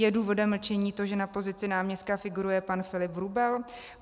Je důvodem mlčení to, že na pozici náměstka figuruje pan Filip Vrubel?